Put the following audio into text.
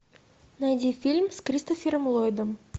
найди фильм с кристофером лойдом